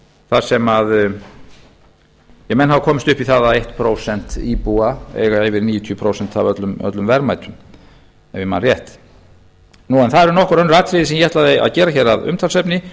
þar sem menn hafa komist upp í það að eitt prósent íbúa eiga yfir níutíu prósent af öllum verðmætum ef ég man rétt það eru nokkur önnur atriði sem ég ætlaði að gera hér að umtalsefni